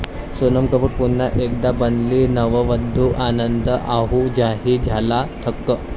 सोनम कपूर पुन्हा एकदा बनली नववधू, आनंद आहुजाही झाला थक्क!